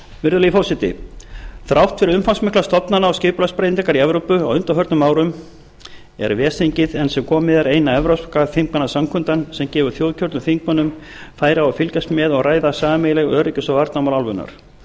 virðulegi forseti þrátt fyrir umfangsmikla stofnana og skipulagsbreytingar í evrópu á undanförnum árum er ves þingið enn sem komið er eina evrópska þingmannasamkundan sem gefur þjóðkjörnum þingmönnum færi á að fylgjast með og ræða sameiginleg öryggis og varnarmál álfunnar